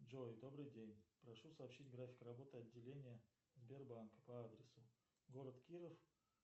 джой добрый день прошу сообщить график работы отделения сбербанка по адресу город киров